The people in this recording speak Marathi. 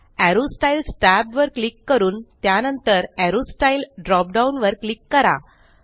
एरो स्टाईल्स tab वर क्लिक करून त्यानंतर एरो स्टाईल ड्रोप डाऊन वर क्लिक करा